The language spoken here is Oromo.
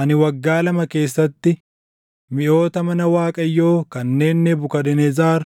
Ani waggaa lama keessatti miʼoota mana Waaqayyoo kanneen Nebukadnezar